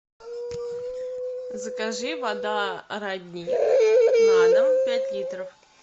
закажи вода родник на дом пять литров